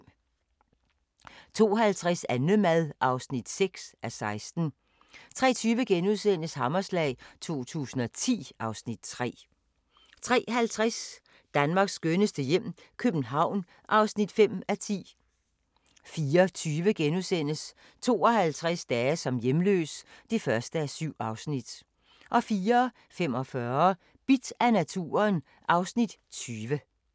02:50: Annemad (6:16) 03:20: Hammerslag 2010 (Afs. 3)* 03:50: Danmarks skønneste hjem - København (5:10) 04:20: 52 dage som hjemløs (1:7)* 04:45: Bidt af naturen (Afs. 20)